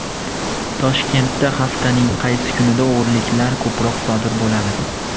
Toshkentda haftaning qaysi kunida o‘g‘riliklar ko‘proq sodir bo‘ladi?.